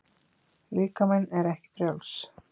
Líkaminn er ekki frjáls.